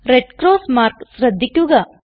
red cross mark ശ്രദ്ധിക്കുക